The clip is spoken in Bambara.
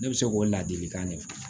Ne bɛ se k'o ladilikan de fɔ